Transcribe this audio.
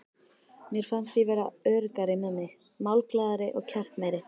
Mér fannst ég verða öruggari með mig, málglaðari og kjarkmeiri.